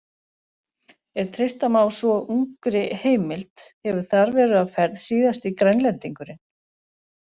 Ef treysta má svo ungri heimild hefur þar verið á ferð síðasti Grænlendingurinn.